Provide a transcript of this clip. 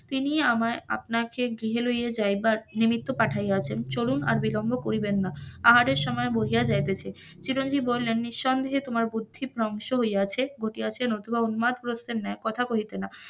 তিনি আমার আপনাকে গৃহে লইয়া যাইবার নিমিত্ত পাঠাইয়াছেন চলুন আর বিলম্ব করিবেন না আহারের সময় বহিয়া যাইতেছে, চিরঞ্জীব বলেন নিসন্দেহে তোমার বুদ্ধি ভ্রংশ হইয়াছে নতুবা উন্মাদ প্রস্ত্রের ন্যায় কথা কহিতে না,